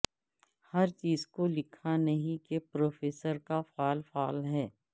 ہر چیز کو لکھا نہیں کہ پروفیسر کا فعل فعل ہے